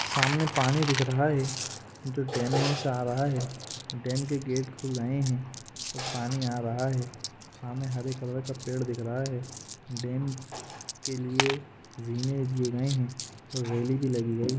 सामने पानी दिख रहा है जो डेम मे से आ रहा है डेम के गेट खुल गये है तो पानी आ रहा है सामने हरे कलर का पेड़ दिख रहा है डेम के लिए जीने दिए गये है रैली भी लगी गई हैं।